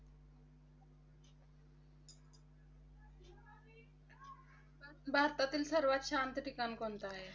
भारतातील सर्वात शांत ठिकाण कोणतं आहे?